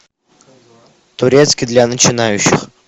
турецкий для начинающих